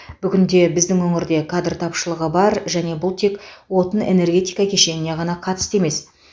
бүгінде біздің өңірде кадр тапшылығы бар және бұл тек отын энергетика кешеніне ғана қатысты емес